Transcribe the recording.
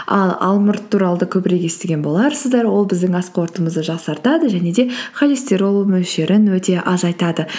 ал алмұрт туралы да көбірек естіген боларсыздар ол біздің ас қорытуымызды жақсартады және де холестерол мөлшерін өте азайтады